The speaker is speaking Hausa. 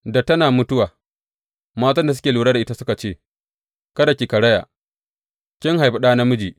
Da tana mutuwa, matan da suke lura da ita suka ce, Kada ki karaya kin haifi ɗa namiji.